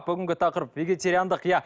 бүгінгі тақырып вегетариандық иә